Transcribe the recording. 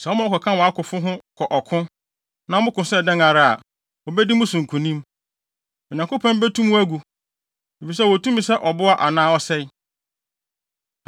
Sɛ woma wɔkɔka wʼakofo ho kɔ ɔko, na moko sɛ dɛn ara a, wobedi mo so nkonim. Onyankopɔn betu mo agu, efisɛ ɔwɔ tumi sɛ ɔboa anaa ɔsɛe.”